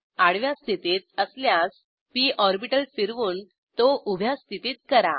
आडव्या स्थितीत असल्यास पी ऑर्बिटल फिरवून तो उभ्या स्थितीत करा